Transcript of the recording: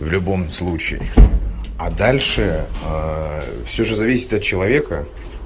в любом случае а дальше всё же зависит от человека